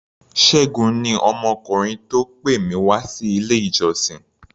Ṣẹ́gun ni ọmọkùnrin tó pè mí wá sí ilé-ìjọsìn.